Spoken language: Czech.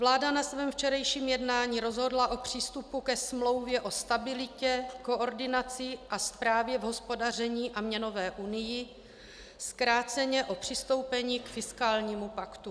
Vláda na svém včerejším jednání rozhodla o přístupu ke Smlouvě o stabilitě, koordinaci a správě v hospodaření a měnové unii, zkráceně o přistoupení k fiskálnímu paktu.